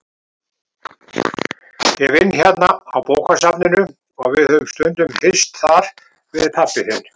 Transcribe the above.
Ég vinn hérna á bókasafninu og við höfum stundum hist þar, við pabbi þinn.